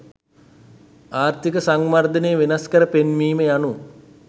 ආර්ථීක වර්ධනය වෙනස්කර පෙන්වීම යනු